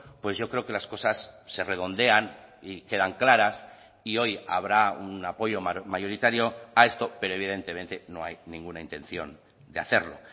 pues yo creo que las cosas se redondean y quedan claras y hoy habrá un apoyo mayoritario a esto pero evidentemente no hay ninguna intención de hacerlo